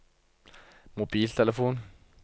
mobiltelefon